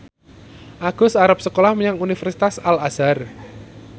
Agus arep sekolah menyang Universitas Al Azhar